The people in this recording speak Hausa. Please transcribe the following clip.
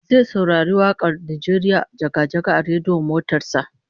Zai saurari wak'ar "Najeriya jaga-jaga" a rediyon motar sa